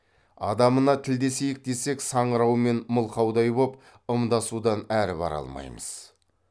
адамына тілдесейік десек саңырау мен мылқаудай боп ымдасудан әрі бара алмаймыз